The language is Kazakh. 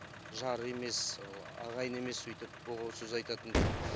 жары емес ол ағайыны емес үйтіп боғауыз сөз айтатындай